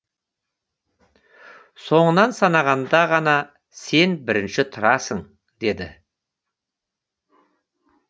соңынан санағанда ғана сен бірінші тұрасың деді